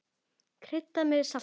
Kryddað með salti.